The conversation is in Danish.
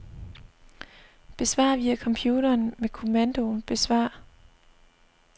Besvar via computeren med kommandoen besvar.